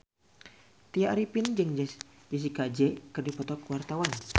Tya Arifin jeung Jessie J keur dipoto ku wartawan